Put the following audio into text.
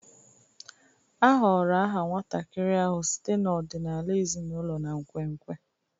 A họọrọ aha nwatakịrị ahụ site n'ọdịnala ezinụlọ na nkwenkwe.